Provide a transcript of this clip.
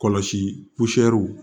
Kɔlɔsi